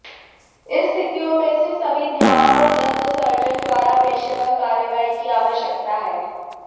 इन स्थितियों में से सभी ध्यान और दंत सर्जन द्वारा पेशेवर कार्रवाई की आवश्यकता है